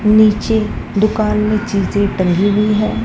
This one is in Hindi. नीचे दुकान में चीजे टंगी हुई है।